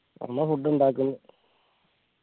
അമ്മ food ഉണ്ടാക്ക്ന്ന്